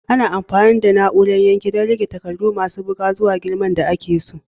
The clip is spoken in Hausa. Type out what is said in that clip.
Ana amfani da na'urar yanke don rage takardu masu buga zuwa girman da ake so.